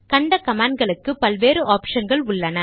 கண்ட கமாண்ட் களுக்கு பல் வேறு ஆப்ஷன்கள் உள்ளன